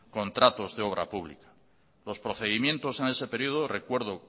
contratos de obra pública los procedimientos en ese período recuerdo